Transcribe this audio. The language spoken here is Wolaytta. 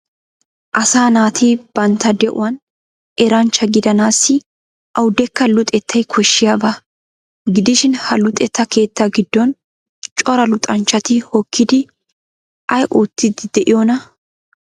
Asaa naati bantta de'uwan eranchcha gidanaassi awudekka luxettay koshshiyaba gidishin ha luxetta keettaa giddon cora luxanchchati hokkidi ay oottiiddi de'iyonaa?